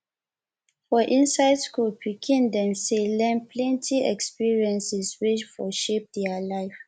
for inside school pikin dem sey learn plenty experiences wey for shape their life